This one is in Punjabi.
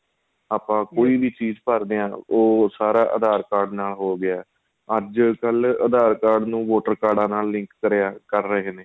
ਆਪਾਂ ਕੋਈ ਵੀ ਚੀਜ਼ ਭਰਦੇ ਹਾਂ ਉਹ ਸਾਰਾ aadhar card ਨਾਲ ਹੋ ਗਿਆ ਅੱਜ ਕੱਲ aadhar card ਨੂੰ voter card ਕਰਿਆ ਕਰ ਰਹੇ ਨੇ